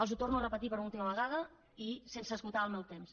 els ho torno a repetir per una última vegada i sense esgotar el meu temps